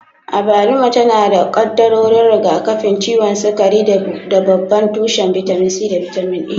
Abaluma tana da kaddarorin rigakafin ciwon sukari da babban tushen bitamin C da bitamin A.